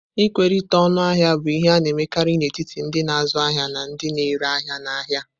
Ịkwerite ọñu ahia bụ ihe a na-emekarị n'etiti ndị na-azụ ahịa na ndị na-ere ahịa n'ahịa.